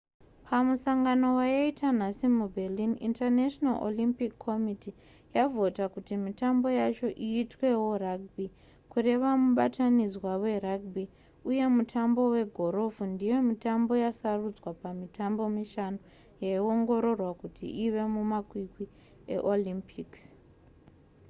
pamusangano wayaita nhasi muberlin international olympic committee yavhota kuti mitambo yacho iitwewo rugby kureva mubatanidzwa werugby uye mutambo wegorofu ndiyo mitambo yasarudzwa pamitambo mishanu yaiongororwa kuti ive mumakwikwi eolympics